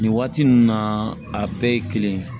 Nin waati ninnu na a bɛɛ ye kelen ye